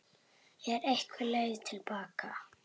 Er einhver leið til baka?